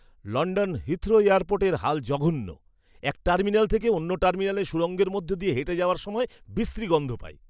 London Heathrow এয়ারপোর্টের হাল জঘন্য। এক টার্মিনাল থেকে অন্য টার্মিনালে সুড়ঙ্গের মধ্যে দিয়ে হেঁটে যাওয়ার সময় বিশ্রী গন্ধ পাই!